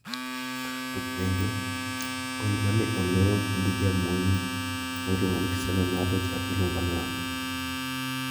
Tuk penjo: Gol ma ne olo gi jamonj ma iluongo ni Cristiano Ronaldo cha iluongonang`o?